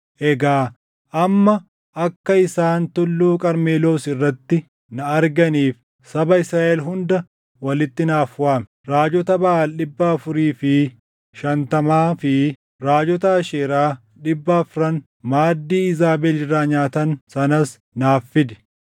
Egaa amma akka isaan Tulluu Qarmeloos irratti na arganiif saba Israaʼel hunda walitti naaf waami. Raajota Baʼaal dhibba afurii fi shantamaa fi raajota Asheeraa dhibba afran maaddii Iizaabel irraa nyaatan sanas naaf fidi.”